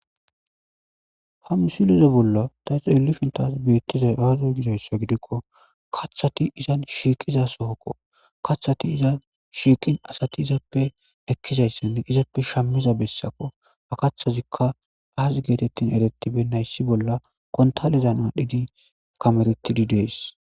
hamusilize bolla daesu elishuntas beettiza aaza gidayssa gidikko kaththati izan shiiqiza sohokko kaththati iza shiiqin asati izaappe ekkizayssan izaappe shammiza bessakko fakathazikka aas geetettin erettibe nayssi bolla kontalizan aadhidi kameretidi dees